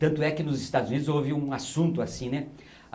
Tanto é que nos Estados Unidos houve um assunto assim, né?